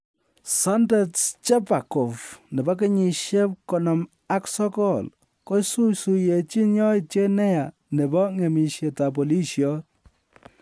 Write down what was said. Sandet Scherbakov, 59, kosuisuiyenchin yautiet neya nebo ng'emisietab polisiot